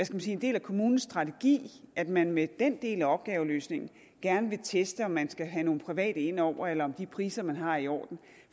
man sige en del af kommunens strategi at man med den del af opgaveløsningen gerne vil teste om man skal have nogle private ind over eller om de priser man har er i orden